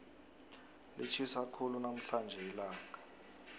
litjhisa khulu namhlanje ilanga